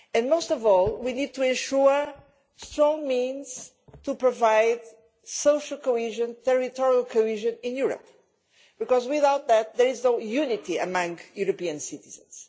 Most of all, we need to ensure strong means to provide social and territorial cohesion in Europe, because without that there is no unity among European citizens.